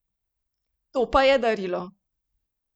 To pa je darilo!